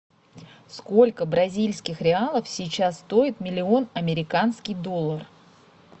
сколько бразильских реалов сейчас стоит миллион американский доллар